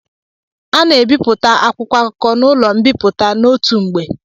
Ana ebipụta akwụkwọ akụkọ n'ụlọ mbipụta n'otu mgbe.